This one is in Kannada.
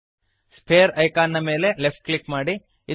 ಸ್ಫಿಯರ್ ಐಕಾನ್ ನ ಮೇಲೆ ಲೆಫ್ಟ್ ಕ್ಲಿಕ್ ಮಾಡಿರಿ